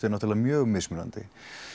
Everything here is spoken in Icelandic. náttúrulega mjög mismunandi